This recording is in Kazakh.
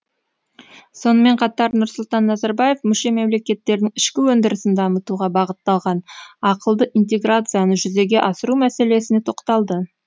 сонымен қатар нұрсұлтан назарбаев мүше мемлекеттердің ішкі өндірісін дамытуға бағытталған ақылды интеграцияны жүзеге асыру мәселесіне тоқталды